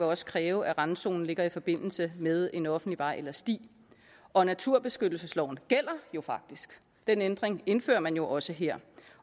også kræve at randzonen ligger i forbindelse med en offentlig vej eller sti og naturbeskyttelsesloven gælder jo faktisk den ændring indfører man jo også her